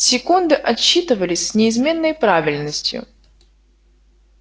секунды отсчитывались с неизменной правильностью